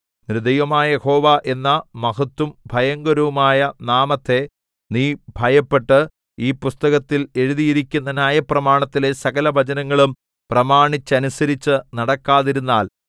നിന്റെ ദൈവമായ യഹോവ എന്ന മഹത്തും ഭയങ്കരവുമായ നാമത്തെ നീ ഭയപ്പെട്ട് ഈ പുസ്തകത്തിൽ എഴുതിയിരിക്കുന്ന ന്യായപ്രമാണത്തിലെ സകലവചനങ്ങളും പ്രമാണിച്ചനുസരിച്ചു നടക്കാതിരുന്നാൽ